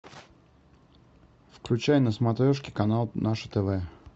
включай на смотрешке канал наше тв